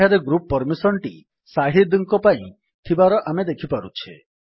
ଏଠାରେ group permission ଟି ଶାହିଦ ଙ୍କ ପାଇଁ ଥିବାର ଆମେ ଦେଖିପାରୁଛେ